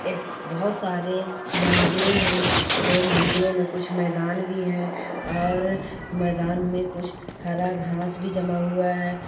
एक बहुत सारे मंदिरे है जो मंदिरो में कुछ मैदान भी है और मैदान में कुछ हरा घांस भी जमा हुआ है।